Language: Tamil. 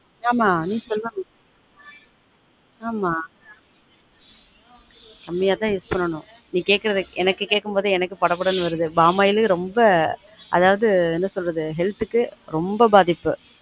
ஆமா நீ சொல்லனும் ஆமா கம்மியா தான் use பண்ணனும் நீ கேக்குறது எனக்கு கேட்கும் போதெ எனக்கு படபடன்னு வருது பாமாயில் ரொம்ப அதாவது என்ன சொல்றது health க்கு ரொம்ப பாதிப்பு